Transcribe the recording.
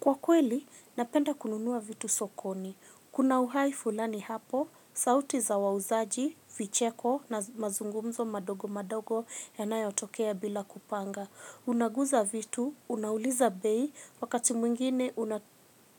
Kwa kweli, napenda kununua vitu sokoni. Kuna uhai fulani hapo, sauti za wauzaji, vicheko na mazungumzo madogo madogo yanayotokea bila kupanga. Unaguza vitu, unauliza bei, wakati mwingine